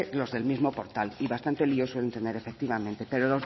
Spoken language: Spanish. los del mismo portal y bastante lioso efectivamente pero